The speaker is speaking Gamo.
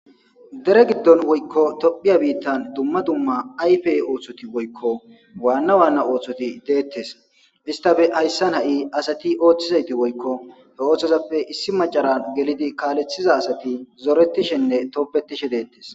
dere giddon woykko tophiya biittan dumma dumma ayfey ooththoti woykko waanna waanna ooththoti deettes istafe hayssan ha7i asati ooththizayti woykko he ooththozappe issi macaran gelidi kaalethiza asati zoretishenne toppetishe deettes